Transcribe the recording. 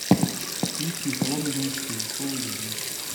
включи соломенные псы фул эйч ди